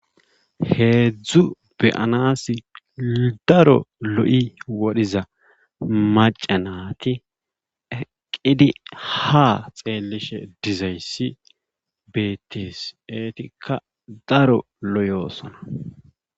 Heedzdzu be'anasi daro lo'i woriza macca naati eqqidi ha xeelishe dizaysi beetees. eetikka daro loyosona.